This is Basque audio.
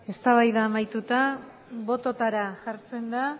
eztabaida amaituta bototara jartzen da